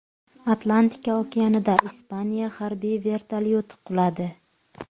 Atlantika okeanida Ispaniya harbiy vertolyoti quladi.